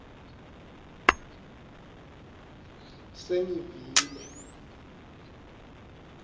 sengivile